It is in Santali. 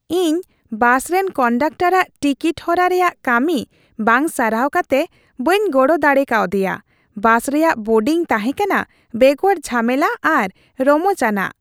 ᱤᱧ ᱵᱟᱥ ᱨᱮᱱ ᱠᱚᱱᱰᱚᱠᱴᱟᱨᱟᱜ ᱴᱤᱠᱤᱴ ᱦᱚᱨᱟ ᱨᱮᱭᱟᱜ ᱠᱟᱹᱢᱤ ᱵᱟᱝ ᱥᱟᱨᱦᱟᱣ ᱠᱟᱛᱮ ᱵᱟᱹᱧ ᱜᱚᱲᱚ ᱫᱟᱲᱮ ᱠᱟᱣᱫᱮᱭᱟ ᱾ ᱵᱟᱥ ᱨᱮᱭᱟᱜ ᱵᱳᱨᱰᱤᱝ ᱛᱟᱦᱮᱸ ᱠᱟᱱᱟ ᱵᱮᱜᱚᱨ ᱡᱷᱟᱢᱮᱞᱟ ᱟᱨ ᱨᱚᱢᱚᱪᱼᱟᱱᱟᱜ ᱾